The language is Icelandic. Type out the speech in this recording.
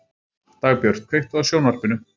Dagbjört, kveiktu á sjónvarpinu.